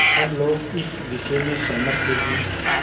सब लोग इस विषय में सहमत थे कि